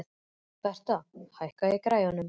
Bertha, hækkaðu í græjunum.